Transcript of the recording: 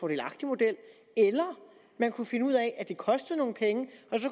model eller man kunne finde ud af at det kostede nogle penge